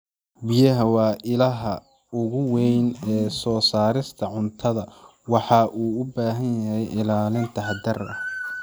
Biyaha waa ilaha ugu weyn ee soo saarista cuntada, waxaana u baahanahay ilaalin taxadar leh.